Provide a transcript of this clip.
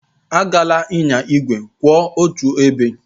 Agala ịnya igwe kwụ otu ebe!